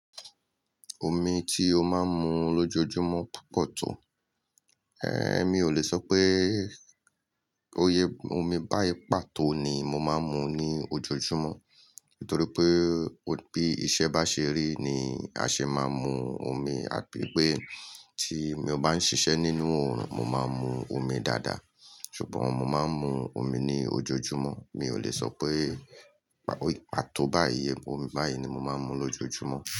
Omi ti o máa ń mu lójoojúmọ́ púpọ̀ tó, ẹ́h emi ò lè sọ pé oyè omi báyi pàtó ni mo máa ń mu ní ojoojúmọ́, nítorí pé bí iṣẹ́ bá ṣe rí ni a ṣe máa ń mu omi, àbí pé tí mi ò bá ń ṣiṣẹ́ nínú òòrùn mo máa ń mu omi dáadáa. Ṣùgbọ́n mo máa ń mu omi ní ojoojúmọ́. Mi ò lè sọ pé pàtó bayi iye omi báyìí ni mo máa ń mu lójoojúmọ́